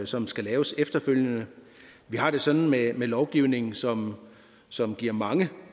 som skal laves efterfølgende vi har det sådan med lovgivning som som giver mange